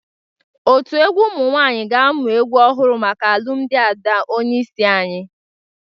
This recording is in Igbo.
Otu egwu ụmụ nwaanyị ga-amụ egwu ọhụrụ maka alụmdị Ada onyeisi anyị.